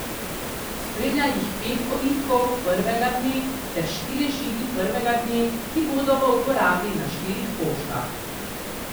Spremlja jih pet ovitkov prvega dne ter štirje žigi prvega dne, ki bodo v uporabi na štirih poštah.